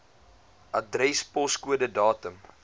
adres poskode datum